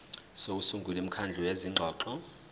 sokusungula imikhandlu yezingxoxo